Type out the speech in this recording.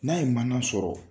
N'a ye mana sɔrɔ.